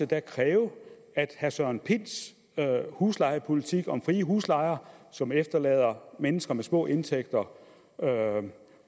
da kræve at herre søren pinds huslejepolitik om frie huslejer som efterlader mennesker med små indtægter